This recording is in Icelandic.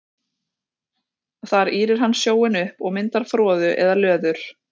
Þar ýrir hann sjóinn upp og myndar froðu eða löður.